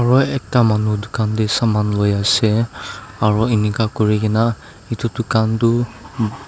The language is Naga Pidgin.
aro ekta manu dukan teh saman luiase aru inika kurigena itu dukan tu.